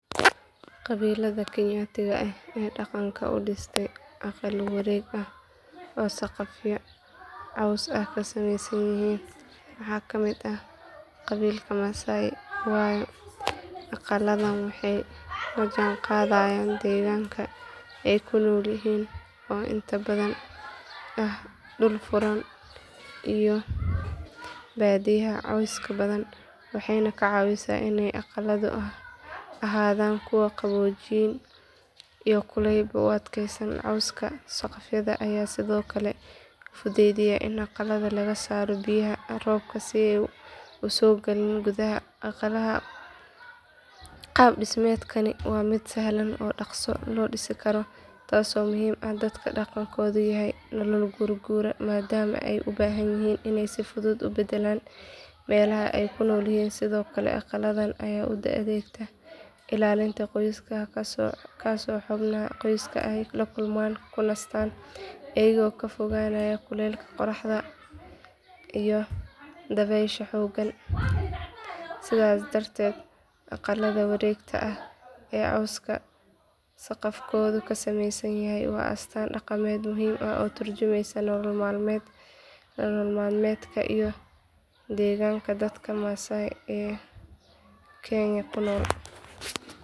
Qabiillada kenyatiga ah ee dhaqanka u dhistay aqallo wareeg ah oo saqafyo caws ah ka samaysan yihiin waxaa ka mid ah qabiilka masaai waayo aqalladan waxay la jaanqaadayaan deegaanka ay ku nool yihiin oo inta badan ah dhul furan iyo baadiyaha cawska badan waxayna ka caawisaa inay aqalladu ahaadaan kuwo qaboojin iyo kulaylba u adkaysta cawska saqafka ayaa sidoo kale fududeeya in aqalka laga saaro biyaha roobka si aysan u soo gelin gudaha aqalka qaab dhismeedkani waa mid sahlan oo dhaqso loo dhisi karo taasoo muhiim u ah dadka dhaqankoodu yahay nolol guurguura maadaama ay u baahan yihiin inay si fudud u beddelaan meelaha ay ku noolyihiin sidoo kale aqalladan ayaa u adeegta ilaalinta qoysku halkaasoo xubnaha qoysku ay ku kulmaan kuna nastaan iyagoo ka fogaanaya kulaylka qorraxda iyo dabaysha xooggan sidaas darteed aqallada wareegta ah ee cawska saqafkoodu ka samaysan yahay waa astaan dhaqameed muhiim ah oo ka turjumaysa nolol maalmeedka iyo deegaanka dadka masaai ee kenya ku nool